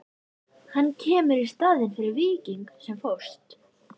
Hann kemur í staðinn fyrir Víking sem fórst.